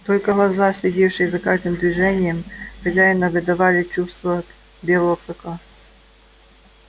только глаза следившие за каждым движением хозяина выдавали чувства белого клыка